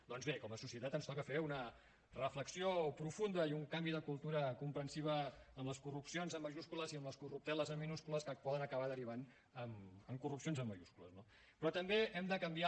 doncs bé com a societat ens toca fer una reflexió profunda i un canvi de cultura comprensiva amb les corrupcions amb majúscules i amb les corrupteles amb minúscules que poden acabar derivant en corrupcions en majúscules no però també hem de canviar